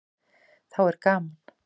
Þá er gaman.